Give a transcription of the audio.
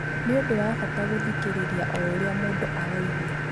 Nĩ ũndũ wa bata gũthikĩrĩria ũrĩa o mũndũ araigua.